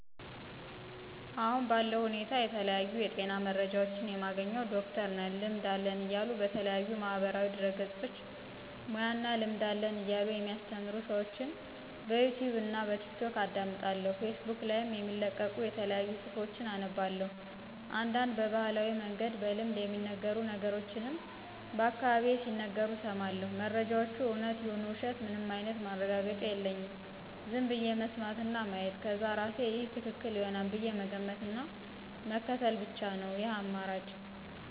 አሁን ባለው ሁኔታ የተለያዩ የጤና መረጃዎችን የማገኘው ዶክተር ነን ልምድ አለን እያሉ በተለያዩ ማህበራዊ ድህረገጾች ሙያና እና ልምድ አለን እያሉ የሚአሰተምሩ ሰዎችን በዩቱብ እና በቲክቶክ አዳምጣለሁ ፌስቡክ ላይም የሚለቀቁ የተለያዩ ጽሁፎችን አነባለሁ፤ አንዳንድ በባህላዊ መንገድ በልምድ የሚነገሩ ነገሮችንም በአካባቢየ ሲነገሩ እሰማለሁ። መረጃወቹ እውነት ይሁኑ ውሸት ምንም አይነት ማረጋገጫ የለኝም ዝም ብዬ መስማት እና ማየት ከዛ እርሴ ይሄ ትክክል ይሆናል ብዬ መገመት እና ምክትል ብቻ ነው ይህን አማራጭ።